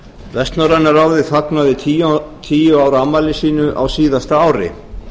vestnorræna ráðið fagnaði tíu ára afmæli sínu á síðasta ári